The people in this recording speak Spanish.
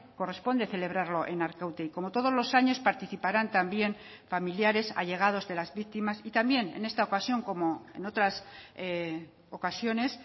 corresponde celebrarlo en arkaute y como todos los años participarán también familiares allegados de las víctimas y también en esta ocasión como en otras ocasiones